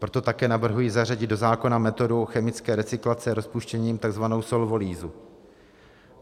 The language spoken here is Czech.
Proto také navrhuji zařadit do zákona metodu chemické recyklace rozpouštěním, tzv. solvolýzu.